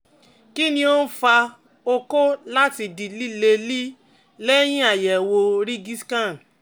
Kí ni ó ń fa okó láti di lílelí lẹ́yìn àyẹ̀wò rigiscan?